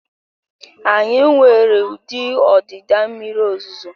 Anyị nwere ụdị ọdịda mmiri ozuzo